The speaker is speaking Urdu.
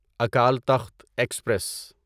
اکال تخت ایکسپریس